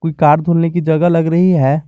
Car धुलने की जगह लग रही है।